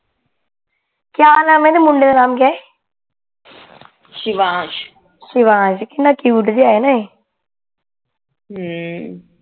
ਕੀਆ ਨਾਮ ਏ ਮੁੰਡੇ ਦਾ ਨਾਮ ਕਿਆ ਹੈ ਸ਼ਿਵਾਨਸ਼ ਸ਼ਿਵਾਨਸ਼ ਕਿਤਨਾ ਕਯੂਟ ਜਿਹਾ ਹੈ ਨਾ ਏ